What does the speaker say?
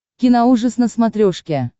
киноужас на смотрешке